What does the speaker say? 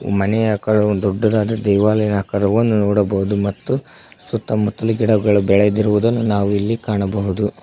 ಮನೆಯ ಆಕಡೆ ಒಂದ್ ದೊಡ್ಡದಾದ ದೇವಾಲಯ ಆಕಾರವನ್ನು ನೋಡಬಹುದು ಮತ್ತು ಸುತ್ತಮುತ್ತಲು ಗಿಡಗಳು ಬೆಳೆದಿರುವುದು ನಾವು ಇಲ್ಲಿ ಕಾಣಬಹುದು.